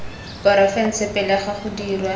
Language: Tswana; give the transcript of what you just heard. porofense pele ga go dirwa